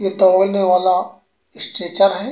ये दौड़ने वाला स्ट्रेचर है।